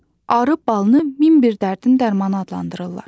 Arı balını min bir dərdin dərmanı adlandırırlar.